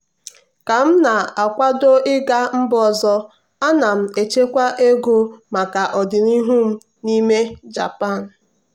ka m na-akwado ịga mba ọzọ ana m echekwa ego maka ọdịnihu m n'ime japan.